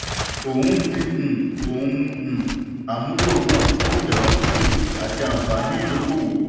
ó ń fi um ohun um àmúlò hàn fún ìdàgbàsókè àti anfààní ìdókòwò.